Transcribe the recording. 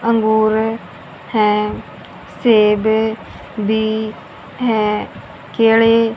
अंगूर हैं सेव भी हैं केळे --